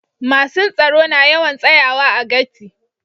Masun tsaro na yawan tsayawa a gati'.